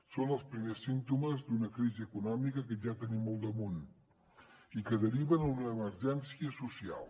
són els primers símptomes d’una crisi econòmica que ja tenim al damunt i que deriva en una emergència social